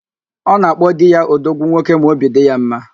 Ọ na-akpo di ya "odogwu nwoke" ma óbì dị ya mma